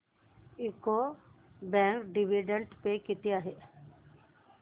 UCO bank dividend pay किती आहे